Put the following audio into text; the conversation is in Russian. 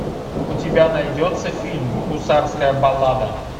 у тебя найдется фильм гусарская баллада